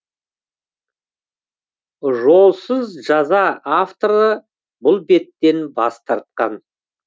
жолсыз жаза авторы бұл беттен бас тартқан